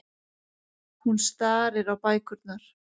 Hún starir á bækurnar.